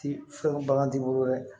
Ti fɛn bagan t'i bolo dɛ